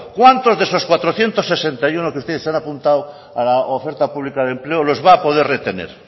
cuántos de esos cuatrocientos sesenta y uno que ustedes han apuntado a la oferta pública de empleo los va a poder retener